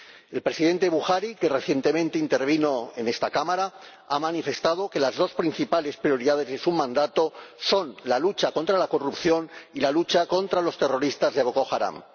El presidente Buhari, que ha intervenido recientemente en esta Cámara, ha manifestado que las dos principales prioridades de su mandato son la lucha contra la corrupción y la lucha contra los terroristas de Boko Haram.